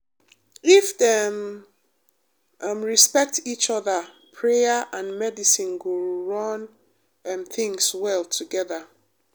if dem um respect each other prayer and medicine go run um things well together.